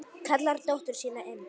Kallar á dóttur sína inn.